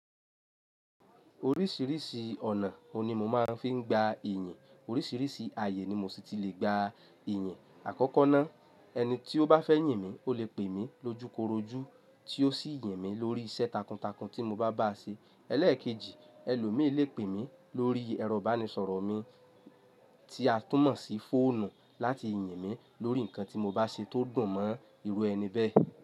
Oríṣìíríṣìí ọ̀nà òní mo máa ń fi gba ìyìn. Oríṣìíríṣìí ààyè ni mo sì ti lè gba ìyìn. Àkọ́kọ́ náà, ẹni tí ó bá fẹ́ yìn mí ò lè pè mí lójúkorojú tí ó sì yàn mí lórí iṣẹ́ takuntakun tí mo bá bá a ṣe. Ẹlẹ́ẹ̀kejì, ẹlòmíràn lè pè mí lórí ẹ̀rọ ìbánisọ̀rọ̀ mi tí a tún mọ̀ sí fóònù láti yìn mí lórí nǹkan tí mo bá ṣe tó dun mọ́ ìru ẹni bẹ́ẹ̀.